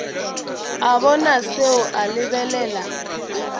a bona seo a lebelela